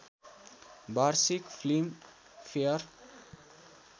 वार्षिक film fair